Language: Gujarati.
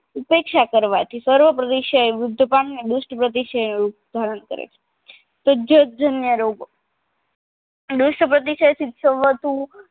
ઉપેક્ષા કરવાથી સર્વ પ્રતિસાય વૃદ્ધ પામીને દુષ્ટ પ્રતિસાય રોગ ધારણ કરે છે તુજજ જનીય રોગો દુષ્ટ પ્રતિસાય સિતસવતું